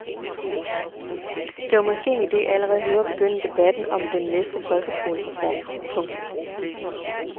Det var måske en ide allerede nu at begynde debatten om den næste folkeskolereform. punktum